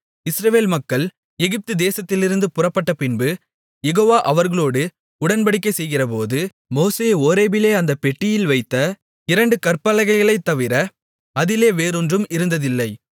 இஸ்ரவேல் மக்கள் எகிப்து தேசத்திலிருந்து புறப்பட்டபின்பு யெகோவா அவர்களோடு உடன்படிக்கை செய்கிறபோது மோசே ஓரேபிலே அந்தப் பெட்டியில் வைத்த இரண்டு கற்பலகைகளைத் தவிர அதிலே வேறொன்றும் இருந்ததில்லை